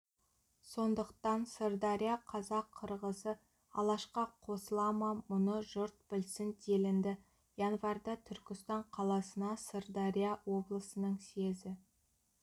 сондықтан сырдария қазақ-қырғызы алашқа қосыла ма мұны жұрт білсін делінді январьда түркістан қаласына сырдария облысының съезі